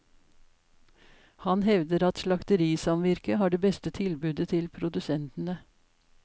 Han hevder at slakterisamvirket har det beste tilbudet til produsentene.